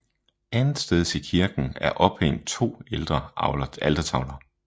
Andetsteds i kirken er ophæng to ældre altertavler